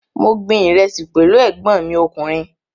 Mo gbin ìrẹsì pẹ̀lú ẹ̀gbọ́n mi ọkùnrin